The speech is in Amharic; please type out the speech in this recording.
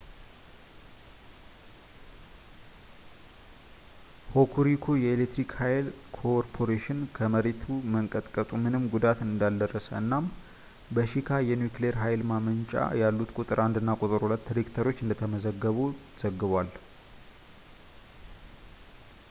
ሆኩሪኩ የኤሌትሪክ ኃይል ኮ ከመሬት መንቀጥቀጡ ምንም ጉዳት እንዳልደረሰ እና እናም በሺካ የኒውክሊየር ኃይል ማመንጫ ያሉት ቁጥር 1 እና ቁጥር 2 ሬክተሮች እንደተዘጉ ዘግቧል